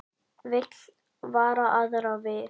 Vill vara aðra við